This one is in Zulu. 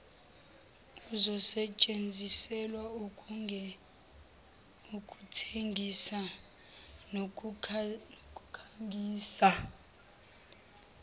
izosetshenziselwa ukuthengisa nokukhangisa